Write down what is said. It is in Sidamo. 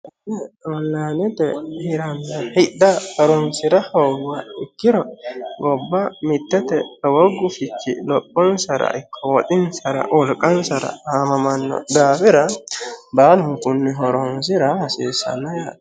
Konni onlinete hirrana hidha horonisira hooniguha ikkiro gobba mitte lowo gufichchi loponisara ikko woxxinisara woliqqanisara amamanno daafira baalunikuni horonisira hasisanno yaatte